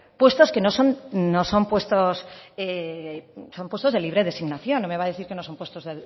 puestos que son de libre designación no me va a decir que no son puestos